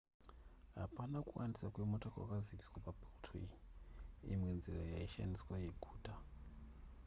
hapana kuwandisa kwemota kwakaziviswa pabeltway imwe nzira yaishandiswa yeguta